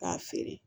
K'a feere